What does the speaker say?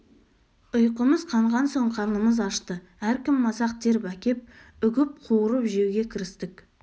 ұйқымыз қанған соң қарнымыз ашты әркім масақ теріп әкеп үгіп қуырып жеуге кірістік